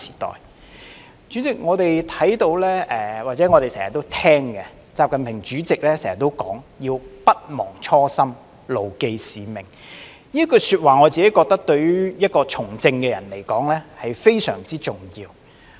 代理主席，我們常看到或聽到習近平主席經常說"要不忘初心，牢記使命"，我認為這句話對於從政的人來說非常重要。